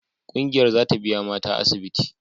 Kungiyar za ta biya mata asibiti.